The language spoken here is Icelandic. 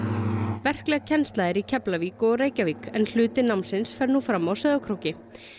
verkleg kennsla er í Keflavík og Reykjavík en hluti námsins fer nú fram á Sauðárkróki